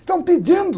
Estão pedindo.